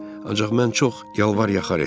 Ancaq mən çox yalvar yaxar etdim.